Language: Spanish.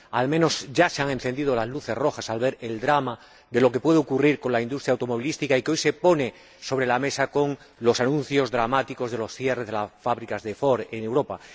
Al menos ya se han encendido las luces rojas al verse el drama de lo que puede ocurrir con la industria automovilística y que hoy se pone sobre la mesa con los anuncios dramáticos del cierre de las fábricas de Ford en Europa.